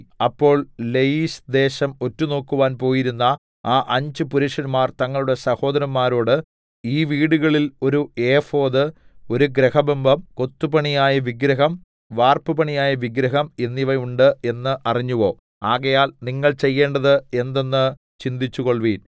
അപ്പോൾ ലയീശ് ദേശം ഒറ്റുനോക്കുവാൻ പോയിരുന്ന ആ അഞ്ച് പുരുഷന്മാർ തങ്ങളുടെ സഹോദരന്മാരോട് ഈ വീടുകളിൽ ഒരു ഏഫോദ് ഒരു ഗൃഹബിംബം കൊത്തുപണിയായ വിഗ്രഹം വാർപ്പുപണിയായ വിഗ്രഹം എന്നിവ ഉണ്ട് എന്ന് അറിഞ്ഞുവോ ആകയാൽ നിങ്ങൾ ചെയ്യേണ്ടത് എന്തെന്ന് ചിന്തിച്ചുകൊൾവിൻ